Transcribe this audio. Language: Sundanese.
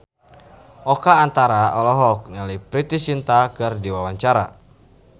Oka Antara olohok ningali Preity Zinta keur diwawancara